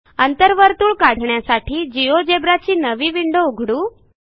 अंतर्वर्तुळ काढण्यासाठी जिओजेब्रा ची नवी विंडो उघडू